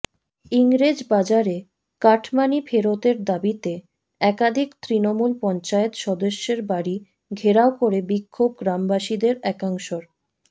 ইংরেজবাজারে cut money ফেরতের দাবিতে একাধিক তৃণমূল পঞ্চায়েত সদস্যের বাড়ি ঘেরাও করে বিক্ষোভ গ্রামবাসীদের একাংশের